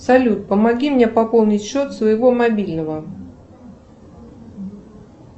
салют помоги мне пополнить счет своего мобильного